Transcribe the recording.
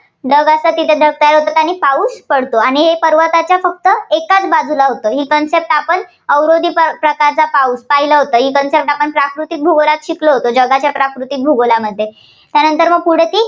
ढग असे, ढग तिथे तयार होतात आणि पाऊस पडतो. आणि हे पर्वताच्या फक्त एकाच बाजूला होतं. ही concept आपण अवरोधी प्रकारचा पाऊस पाहिला होता. ही concept आपण प्राकृतिक भूगोलात शिकलो होतो. जगाच्या प्राकृतिक भूगोलामध्ये. त्यानंतर पुढे ती